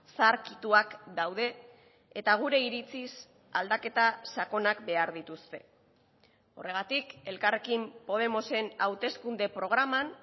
zaharkituak daude eta gure iritziz aldaketa sakonak behar dituzte horregatik elkarrekin podemosen hauteskunde programan